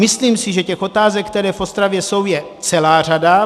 Myslím si, že těch otázek, které v Ostravě jsou, je celá řada.